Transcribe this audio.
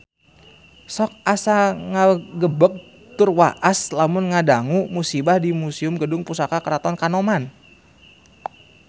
Sok asa ngagebeg tur waas lamun ngadangu musibah di Museum Gedung Pusaka Keraton Kanoman